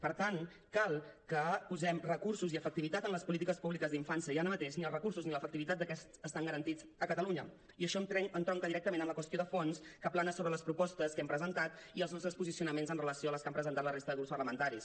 per tant cal que posem recursos i efectivitat en les polítiques públiques d’infància i ara mateix ni els recursos ni l’efectivitat d’aquests estan garantits a catalunya i això entronca directament amb la qüestió de fons que plana sobre les propostes que hem presentat i els nostres posicionaments amb relació a les que han presentat la resta de grups parlamentaris